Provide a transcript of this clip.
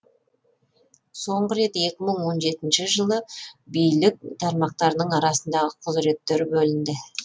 соңғы рет екі мың он жетіншісі жылы билік тармақтарының арасындағы құзыреттер бөлінді